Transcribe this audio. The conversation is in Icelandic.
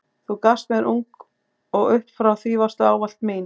Þú gafst mér ung og upp frá því varstu ávallt mín.